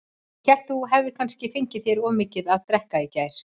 Ég hélt þú hefðir kannski fengið þér of mikið að drekka í gær.